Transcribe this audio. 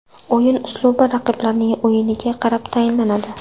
O‘yin uslubi raqiblarning o‘yiniga qarab tanlanadi.